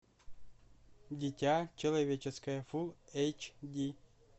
дитя человеческое фулл эйч ди